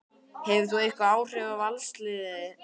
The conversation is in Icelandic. Hefur það einhver áhrif á Valsliðið?